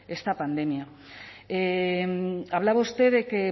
esta pandemia hablaba usted de que